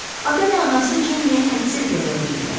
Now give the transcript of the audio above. Ata və anası Cenniyə hədsiz qəzəbli idilər.